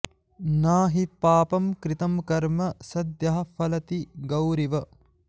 न हि पापं कृतं कर्म सद्यः फलति गौरिव